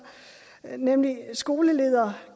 nemlig skoleledere